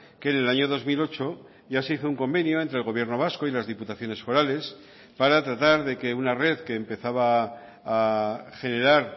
que en el año dos mil ocho ya se hizo un convenio entre el gobierno vasco y las diputaciones forales para tratar de que una red que empezaba a generar